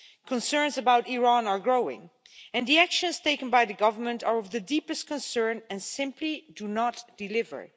Concerns about Iran are growing, and the actions taken by the government are of the deepest concern and simply do not deliver.